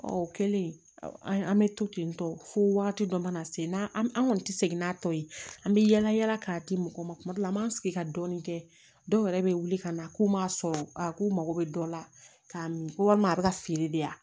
Ɔ o kɛlen an bɛ to ten tɔ fo wagati dɔ mana se n'an kɔni tɛ segin n'a tɔ ye an bɛ yaala yaala k'a di mɔgɔ ma tuma dɔw la an b'an sigi ka dɔɔnin kɛ dɔw yɛrɛ bɛ wuli ka na k'u m'a sɔrɔ a k'u mago bɛ dɔ la k'a min ko walima a bɛ ka feere de yan